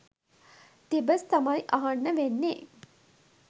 තිබස් තමයි අහන්න වෙන්නේ.